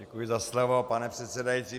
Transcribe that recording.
Děkuji za slovo, pane předsedající.